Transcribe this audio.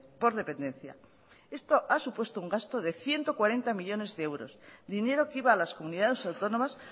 por dependencia esto ha supuesto un gasto de ciento cuarenta millónes de euros dinero que iba a las comunidades autónomas